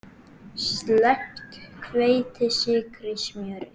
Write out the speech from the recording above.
Sleppt hveiti, sykri, smjöri.